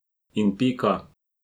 In pika.